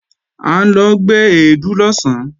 À ń lọ gbé èédú lọ̀sán